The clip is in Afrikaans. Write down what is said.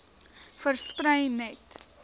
versprei net